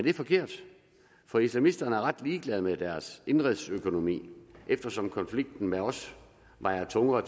er forkert for islamisterne er ret ligeglade med deres indenrigsøkonomi eftersom konflikten med os vejer tungere